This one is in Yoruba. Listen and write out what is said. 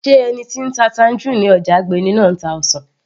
sé ẹni tí ń ta tangerine ní ọjà Agbeni náà ń ta ọsàn